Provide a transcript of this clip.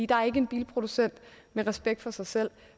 der er ikke en bilproducent med respekt for sig selv